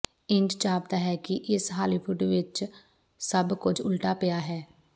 ਇੰਜ ਜਾਪਦਾ ਹੈ ਕਿ ਇਸ ਹਾਲੀਵੁੱਡ ਵਿਚ ਸਭ ਕੁਝ ਉਲਟਾ ਪਿਆ ਹੈ